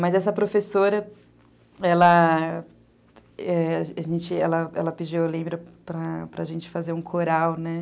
Mas essa professora, ela... Ela pediu, eu lembro, para a gente fazer um coral, né?